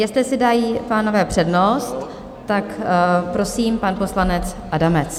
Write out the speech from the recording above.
Jestli si dají pánové přednost - tak prosím, pan poslanec Adamec.